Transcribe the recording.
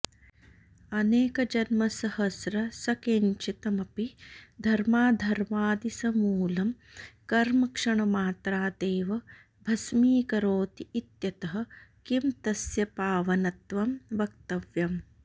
अनेकजन्मसहस्रसञ्चितमपि धर्माधर्मादि समूलं कर्म क्षणमात्रादेव भस्मीकरोति इत्यतः किं तस्य पावनत्वं वक्तव्यम्